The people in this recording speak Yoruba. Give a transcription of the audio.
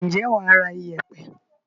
Ǹjẹ́ wà á ra yèèpẹ̀.